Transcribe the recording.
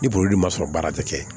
Ni boli ma sɔrɔ baara tɛ kɛ